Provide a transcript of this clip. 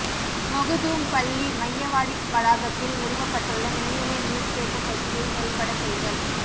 மொகுதூம் பள்ளி மையவாடி வளாகத்தில் நிறுவப்பட்டுள்ள மேல்நிலை நீர்த்தேக்கத் தொட்டியை செயல்படச் செய்தல்